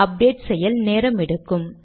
update செயல் நேரமெடுக்கும்